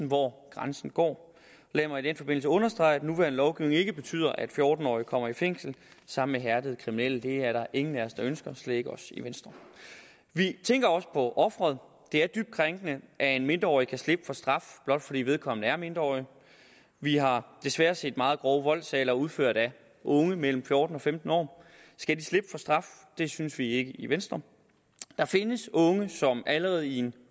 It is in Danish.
hvor grænsen går lad mig i den forbindelse understrege at den nuværende lovgivning ikke betyder at fjorten årige kommer i fængsel sammen med hærdede kriminelle det er der ingen af os der ønsker slet ikke os i venstre vi tænker også på offeret det er dybt krænkende at en mindreårig kan slippe for straf blot fordi vedkommende er mindreårig vi har desværre set meget grove voldssager udført af unge mellem fjorten og femten år skal de slippe for straf det synes vi ikke i venstre der findes unge som allerede i en